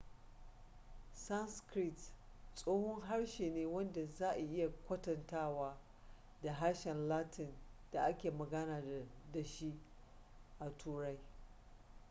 sanskrit tsohon harshe ne wanda za a iya kwatantawa da harshen latin da ake magana da shi a turai